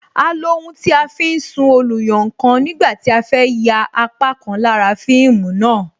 A lo ohun tí a fi ń sún oluyankan nígbà tí a fẹ ya apá kan lára fíìmù náà